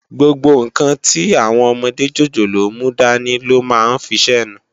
Gbógbó nkán ti áwòn òmòdé jójólóò múdàní lò má n fisènú